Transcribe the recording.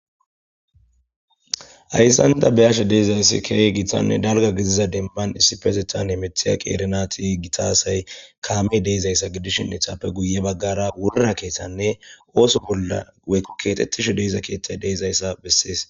Hayssanta beyashe deezayssi keey gitanne dalga gidiza demman issipetetan hemithiya qeerinati gitasay kaame deezayssa gidishin etappe guye baggara wurra keeththanne ooso bolla weykko keexxetishu deeza keethtay deezayssa bessees